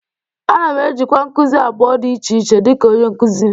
Ana m ejikwa nkuzi abụọ dị iche iche dịka onye nkuzi